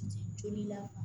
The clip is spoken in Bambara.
Joli la